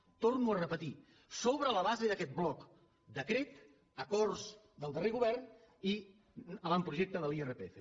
ho torno a repetir sobre la base d’aquest bloc decret acords del darrer govern i avantprojecte de l’irpf